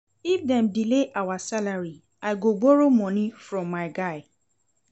If dem delay our salary, I go borrow moni from my guy.